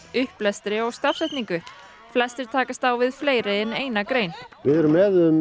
upplestri og stafsetningu flestir takast á við fleiri en eina grein við erum